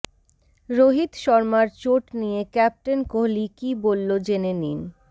রোহিত শর্মার চোট নিয়ে ক্যাপ্টেন কোহলি কি বললো জেনে নিন